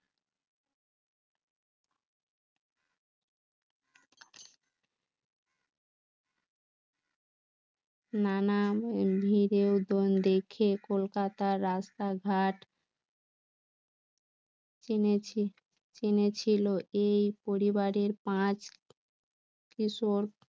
নানা ভিড় ডোন দেখে কলকাতার রাস্তাঘাট চিনেছি ~চিনেছিল এই পরিবারের পাচ কিশোর